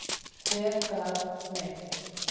Hver gat mig?